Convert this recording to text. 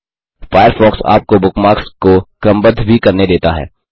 Firefox आपको bookmarks को क्रमबद्ध भी करने देता है